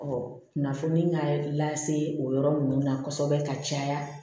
kunnafoni ka lase o yɔrɔ ninnu na kosɛbɛ ka caya